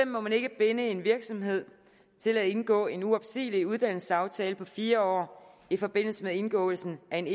må man ikke binde en virksomhed til at indgå en uopsigelig uddannelsesaftale på fire år i forbindelse med indgåelsen af en